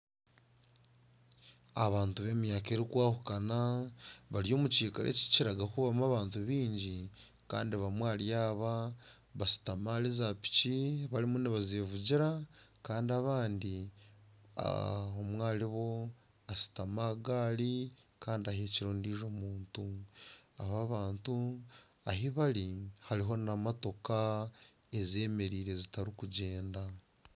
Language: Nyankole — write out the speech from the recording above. Abantu be myaka erikwahukana bari omukikaro ekikiraga kuba kirimu abantu bingi. Bamwe ahari aba bashutami ahari za piki barimu nibazevugira kandi abandi omwe ahari bo ashutami aha gaari kandi ahekire ondiijo muntu. Aba bantu ahi bari hariho n'emotoka ezemereire ezitarikugyenda.